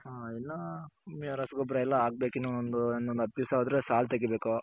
ಹ ಇಲ್ಲ ಇನ್ನ ರಸಗೊಬ್ಬರ ಎಲ್ಲಾ ಹಾಕ್ಬೇಕು ಇನ್ನು ಇನ್ನೊಂದ್ ಹತ್ತ್ ದಿಸ ಹೋದ್ರೆ ಸಾಲ್ ತಗಿಬೇಕು.